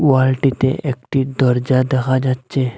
ওয়ালটিতে একটি দরজা দেখা যাচ্ছে।